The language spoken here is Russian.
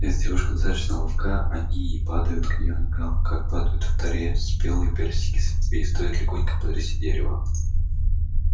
если девушка достаточно ловка они падают к её ногам как падают в таре спелые персики с ветвей стоит легонько потрясти дерево